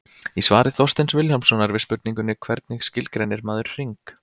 Í svari Þorsteins Vilhjálmssonar við spurningunni Hvernig skilgreinir maður hring?